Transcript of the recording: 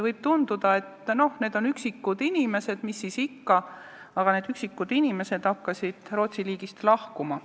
Võib tunduda, et need on üksikud inimesed, mis siis ikka, aga need üksikud inimesed hakkasid Rootsi riigist lahkuma.